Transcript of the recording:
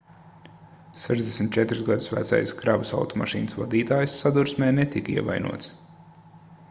64 gadus vecais kravas automašīnas vadītājs sadursmē netika ievainots